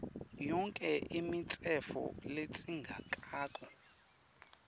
yonkhe imitsetfo ledzingekako